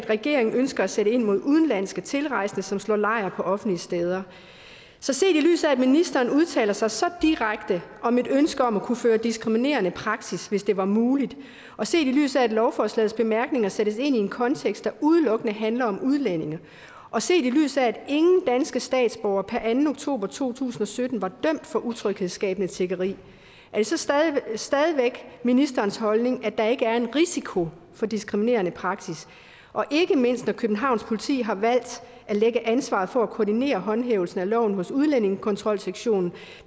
regeringen ønsker at sætte ind mod udenlandske tilrejsende som slår lejr på offentlige steder så set i lyset af at ministeren udtaler sig så direkte om et ønske om at kunne føre diskriminerende praksis hvis det var muligt og set i lyset af at lovforslagets bemærkninger sættes ind i en kontekst der udelukkende handler om udlændinge og set i lyset af at ingen danske statsborgere per anden oktober to tusind og sytten var dømt for utryghedsskabende tiggeri er det så stadig væk ministerens holdning at der ikke er en risiko for diskriminerende praksis og ikke mindst når københavns politi har valgt at lægge ansvaret for at koordinere håndhævelsen af loven hos udlændingekontrolsektionen